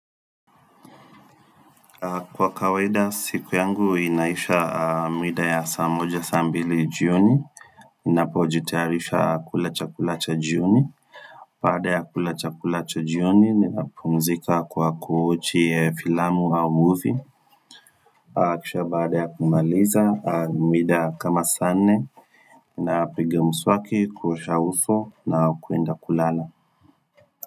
Kwa kawaida siku yangu inaisha maithaa ya saa moja, saa mbili, jioni. Ninapojitayarisha kula chakula cha jioni. Baada ya kula chakula cha jioni ninapumzika kwa kuwochi filamu au muvi. Kisha baada ya kumaliza muda kama saa nne napiga mswaki, kuosha uso, na kwenda kulala.